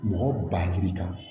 Mɔgɔ ba hakili kan